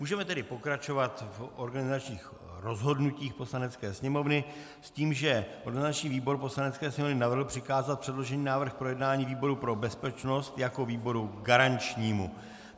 Můžeme tedy pokračovat v organizačních rozhodnutích Poslanecké sněmovny s tím, že organizační výbor Poslanecké sněmovny navrhl přikázat předložený návrh k projednání výboru pro bezpečnost jako výboru garančnímu.